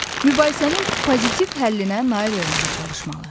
Mübahisənin pozitiv həllinə nail olmağa çalışmalı.